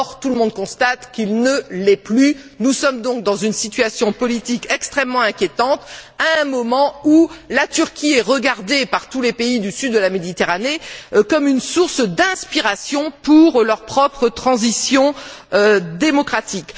Or, tout le monde constate qu'il ne l'est plus. Nous sommes donc dans une situation politique extrêmement inquiétante à un moment où la Turquie est regardée par tous les pays du sud de la Méditerranée comme une source d'inspiration pour leur propre transition démocratique.